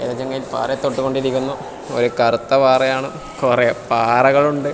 ഒരു ചങ്ങായി പാറെ തൊട്ടുകൊണ്ടിരിക്കുന്നു ഒരു കറുത്ത പാറയാണ് കൊറെ പാറകളുണ്ട്.